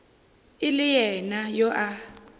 e le yena yo a